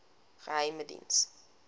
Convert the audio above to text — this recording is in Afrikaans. geheimediens